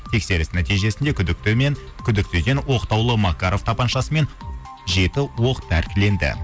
тексеріс нәтижесінде күдіктіден оқтаулы макаров тапаншасы мен жеті оқ тәркіленді